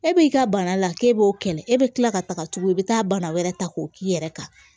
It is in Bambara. E b'i ka bana la k'e b'o kɛlɛ e bɛ tila ka taga tuguni i bɛ taa bana wɛrɛ ta k'o k'i yɛrɛ kan